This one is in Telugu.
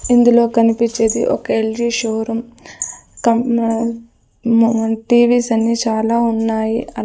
ఇందులో కనిపిచ్చేది ఒక L G show room TVs అన్ని చాలా ఉన్నాయి.